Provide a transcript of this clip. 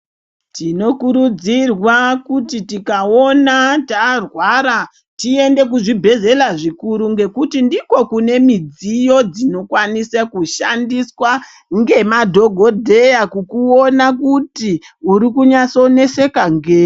Tinokurudzirwa kuti tikaona tarwara tiende kuzvibhedhlela zvikuru ngekuti ndiko kune midziyo dzinokanisa kushandiswa ngemadhogodheya kukuone kuti urikunyasoneseka ngei.